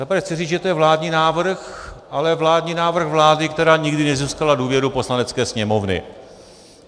Za prvé chci říci, že to je vládní návrh, ale vládní návrh vlády, která nikdy nezískala důvěru Poslanecké sněmovny.